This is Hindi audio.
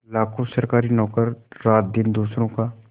लाखों सरकारी नौकर रातदिन दूसरों का